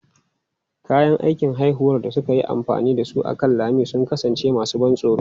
Kayan aikin haifuwar da suka yi amfani da su akan lami sun kasance masu ban tsoro.